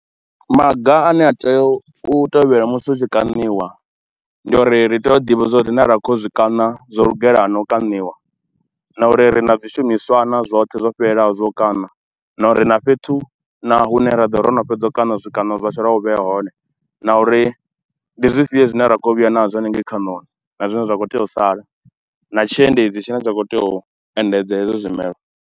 Maga ane a tea u tevhela musi u tshi kaniwa, ndi ya uri ri tea u ḓivha zwauri na ra kho u ya u zwi kana zwo lugela na u kaniwa na uri ri na zwishumiswa na zwoṱhe zwo fhelelaho zwa u kana. Na uri na fhethu na hune ra ḓo ro no fhedza u kana zwikano zwashu ra hu vhea hone, na uri ndi zwifhio zwine ra khou yo vhuya nazwo hanengei khanoni, na zwine zwa kho tea u sala na tshiendedzi tshine tsha khou tea u endedza hezwo zwimelwa.